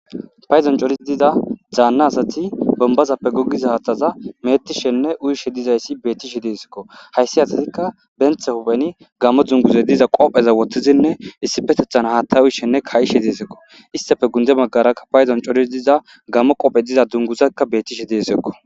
Payduwan coraththiza daanna asathi bombbazappe goggiza haaththaza meeththishenne uyishe dizayssi beeththishe deesikoo; hayssi asathikka be hupheni gaammo dungguzay diza qopheza woththizinne issippetheththan haaththaa uyishenne kaa7ishe deesikoo; isththape gundde baggaarakka payduwan coridi diza gaammo qophe diza dunguzakka beeththishe deesikoo.